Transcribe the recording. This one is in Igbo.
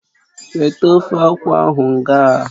Weta ofe akwụ ahụ ngaa!